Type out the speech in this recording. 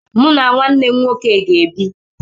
Mụ na nwanne m nwoke ga-ebi.